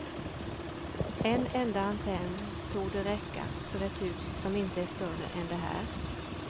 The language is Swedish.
En enda antenn torde räcka för ett hus som inte är större än det här.